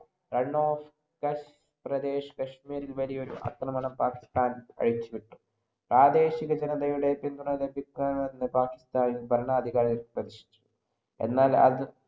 Run‍ of Kutch പ്രദേശം കാശ്മീരില്‍ വലിയൊരു ആക്രമണം പാകിസ്ഥാന്‍ അഴിച്ചു വിട്ടു. പ്രാദേശികജനതയുടെ പിന്തുണ ലഭിക്കണം എന്ന് പാകിസ്ഥാൻ ഭരണാധികാരികള്‍ ശ്രദ്ധിച്ചു. എന്നാൽ അത്